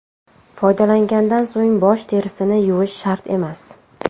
Foydalangandan so‘ng bosh terisini yuvish shart emas.